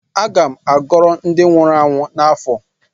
M ga-agoro ndi nwuru anwụ n’afọ